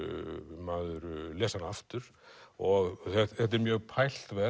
maður lesi hana aftur og þetta er mjög pælt